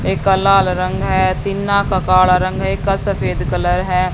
एक का लाल रंग है टिन्ना का काणा रंग है एक का सफेद कलर है।